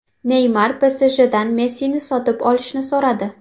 Neymar PSJdan Messini sotib olishni so‘radi.